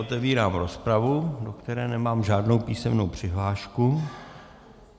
Otevírám rozpravu, do které nemám žádnou písemnou přihlášku.